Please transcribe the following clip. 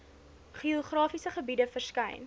geografiese gebiede verskyn